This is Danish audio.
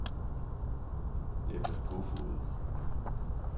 Ebba Koefoed